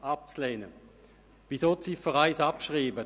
Weshalb will sie die Ziffer 1 abschreiben?